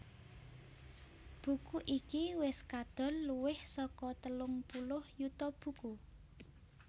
Buku iki wis kadol luwih saka telung puluh yuta buku